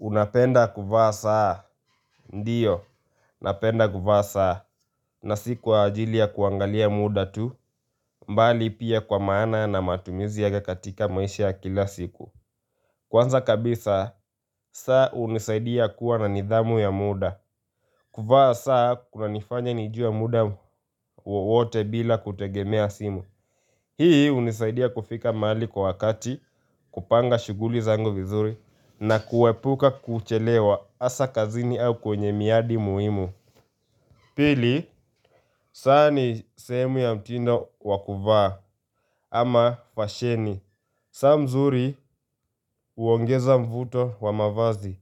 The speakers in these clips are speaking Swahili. Unapenda kuvaa saa, ndiyo, napenda kuvaa saa, na si kwa ajili ya kuangalia muda tu, bali pia kwa maana na matumizi yake katika maisha kila siku. Kwanza kabisa, saa hunisaidia kuwa na nidhamu ya muda, kuvaa saa kunanifanya nijue muda wowote bila kutegemea simu. Hii hunisaidia kufika mahali kwa wakati kupanga shughuli zangu vizuri na kuepuka kuchelewa hasa kazini au kwenye miadi muhimu Pili, saa ni sehemu ya mtindo wa kuvaa ama fasheni saa mzuri huongeza mvuto wa mavazi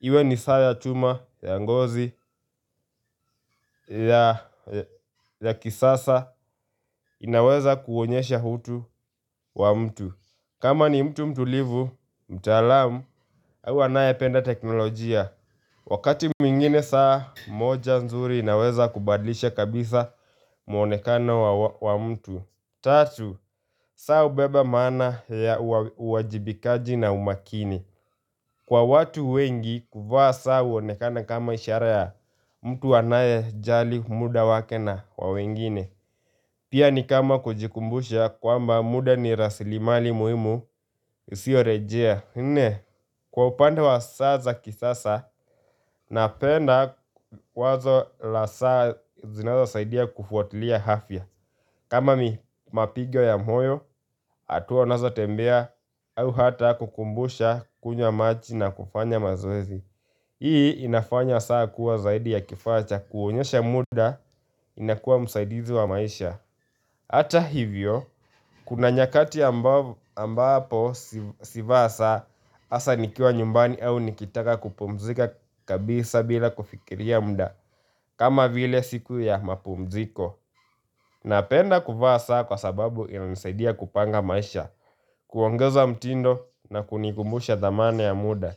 Iwe ni saa ya chuma ya ngozi ya kisasa inaweza kuonyesha utu wa mtu kama ni mtu mtulivu, mtaalamu, huwa anayependa teknolojia. Wakati mwingine saa moja nzuri inaweza kubadilisha kabisa mwonekano wa mtu. Tatu, saa hubeba maana ya uwajibikaji na umakini. Kwa watu wengi, kuvaa saa huonekana kama ishara ya mtu anayejali muda wake na wa wengine. Pia ni kama kujikumbusha kwamba muda ni rasilimali muhimu isiyorejea nne kwa upande wa sasa kisasa napenda wazo la saa zinazosaidia kufuatilia afya kama mi mapigo ya moyo hatua unazotembea au hata kukumbusha kunywa maji na kufanya mazoezi Hii inafanya saa kuwa zaidi ya kifaa cha kuonyesha muda inakuwa msaidizi wa maisha hata hivyo, kuna nyakati ambapo sivaa saa hasa nikiwa nyumbani au nikitaka kupumzika kabisa bila kufikiria muda kama vile siku ya mapumziko Napenda kuvaa saa kwa sababu inanisaidia kupanga maisha kuongeza mtindo na kunikumbusha dhamana ya muda.